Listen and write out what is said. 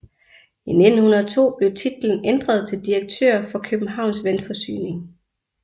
I 1902 blev titlen ændret til direktør for Københavns Vandforsyning